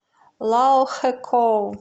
лаохэкоу